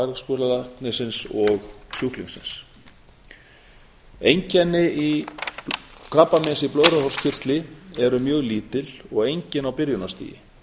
í samráði þvagfæraskurðlæknisins og sjúklingsins einkenni krabbameins í blöðruhálskirtli eru mjög lítil og engin á byrjunarstigi